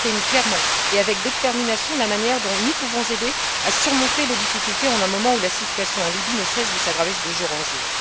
Elle exprime clairement et avec détermination la manière dont nous pouvons aider à surmonter les difficultés en un moment où la situation en Libye ne cesse de s'aggraver de jour en jour.